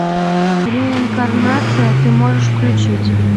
реинкарнация ты можешь включить